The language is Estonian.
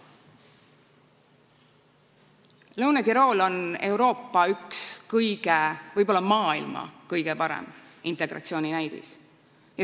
Lõuna-Tirool on Euroopa üks kõige paremaid, võib-olla isegi maailma kõige parem näide integratsiooni kohta.